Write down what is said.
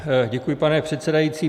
Děkuji, pane předsedající.